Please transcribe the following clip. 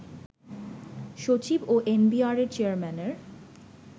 সচিব ও এনবিআরের চেয়ারম্যানের